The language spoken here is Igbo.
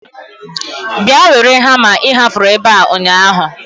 Bịa were hama ị hapụrụ ebe a ụnyaahụ.